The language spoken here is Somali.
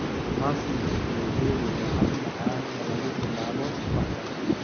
Muffins blueberry waa hab macaan oo lagu bilaabo subaxda.